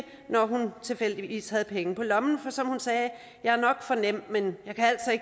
når hun tilfældigvis havde penge på lommen for som hun sagde jeg er nok for nem men